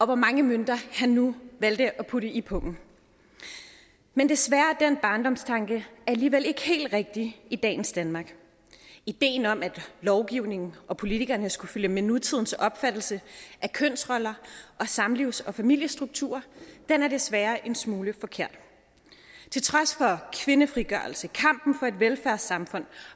hvor mange mønter han nu valgte at putte i pungen men desværre er den barndomstanke alligevel ikke helt rigtig i dagens danmark ideen om at lovgivningen og politikerne skulle følge med nutidens opfattelse af kønsroller og samlivs og familiestrukturer er desværre en smule forkert til trods for kvindefrigørelse kampen for et velfærdssamfund og